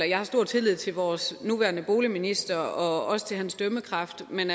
jeg har stor tillid til vores nuværende boligminister og også til hans dømmekraft men